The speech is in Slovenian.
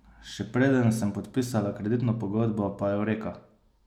Še preden sem podpisala kreditno pogodbo, pa, eureka!